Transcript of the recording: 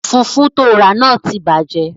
Fùfú tóo rà náà ti bàjẹ́